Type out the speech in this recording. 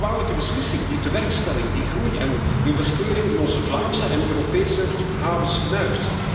Dat is een kwalijke beslissing die tewerkstelling, groei en investeringen in onze Vlaamse en Europese havens fnuikt.